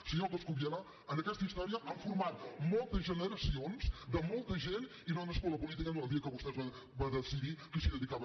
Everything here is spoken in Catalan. senyor coscubiela aquesta història l’han format moltes generacions de molta gent i no ha nascut la política el dia que vostè va decidir que s’hi dedicava